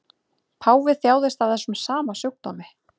Páfi þjáðist af þessum sama sjúkdómi